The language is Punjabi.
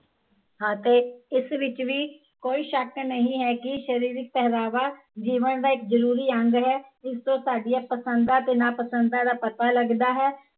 ਅਤੇ ਇਸ ਵਿੱਚ ਵੀ ਕੋਈ ਸ਼ੱਕ ਨਹੀਂ ਹੈ ਕੀ ਸ਼ਰੀਰਕ ਪਹਿਰਾਵਾ, ਜੀਵਨ ਦਾ ਇੱਕ ਜ਼ਰੂਰੀ ਅੰਗ ਹੈ, ਇਸਤੋਂ ਸਾਡੀਆ ਪਸੰਦਾਂ ਤੇ ਨਾ ਪਸੰਦਾਂ ਦਾ ਪਤਾ ਲੱਗਦਾ ਹੈ